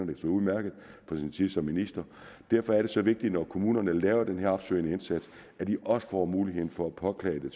det så udmærket fra sin tid som minister derfor er det så vigtigt når kommunerne laver den her opsøgende indsats at de også får mulighed for at påklage